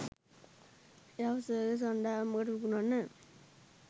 එයාව සර්කස් කණ්ඩායමකට විකුණන්න.